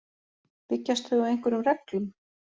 Byggjast þau á einhverjum reglum?